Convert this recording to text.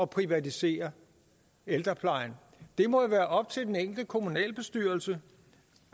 privatisere ældreplejen det må være op til den enkelte kommunalbestyrelse